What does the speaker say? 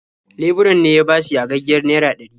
Leburan ne ya bashi yagaggiyar naira ɗari.